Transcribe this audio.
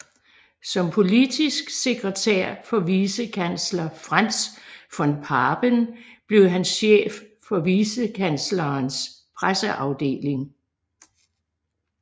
Som politisk sekretær for vicekansler Franz von Papen blev han chef for vicekanslerens presseafdeling